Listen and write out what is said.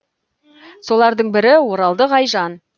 солардың бірі оралдық айжан